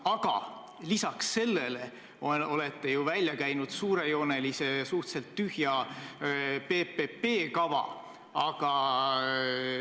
Aga lisaks sellele olete ju välja käinud suurejoonelise ja suhteliselt tühja PPP kava.